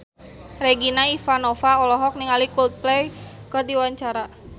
Regina Ivanova olohok ningali Coldplay keur diwawancara